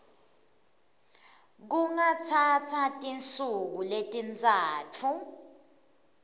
kungatsatsa tinsuku letintsatfu